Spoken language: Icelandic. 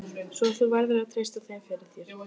Svo þú verður að treysta þeim fyrir. þér.